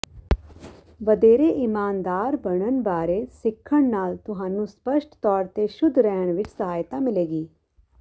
ਵਧੇਰੇ ਈਮਾਨਦਾਰ ਬਣਨ ਬਾਰੇ ਸਿੱਖਣ ਨਾਲ ਤੁਹਾਨੂੰ ਸਪੱਸ਼ਟ ਤੌਰ ਤੇ ਸ਼ੁੱਧ ਰਹਿਣ ਵਿਚ ਸਹਾਇਤਾ ਮਿਲੇਗੀ